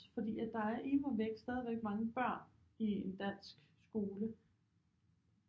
Fordi at der er immervæk stadigvæk mange børn i en dansk skole